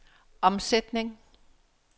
omsætning